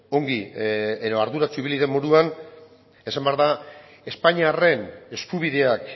ongi edo arduratsu ibili den moduan esan behar da espainiarren eskubideak